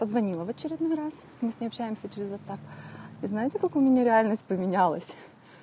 позвонила в очередной раз мы с ней общаемся через ватсап и знаете как у меня реальность поменялась